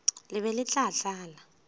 le be le tla tlala